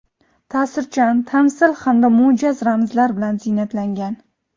ta’sirchan tamsil hamda mo‘jaz ramzlar bilan ziynatlangan.